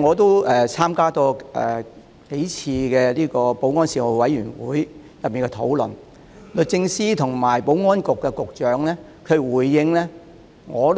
我亦曾參加保安事務委員會數次討論，律政司司長和保安局局長所作的回應我很